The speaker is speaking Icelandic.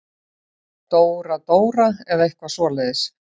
Dóra-Dóra eða eitthvað svoleiðis.